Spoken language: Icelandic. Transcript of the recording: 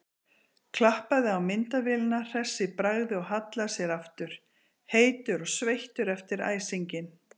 Klappaði á myndavélina hress í bragði og hallaði sér aftur, heitur og sveittur eftir æsinginn.